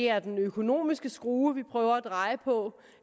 er den økonomiske skrue vi prøver at dreje på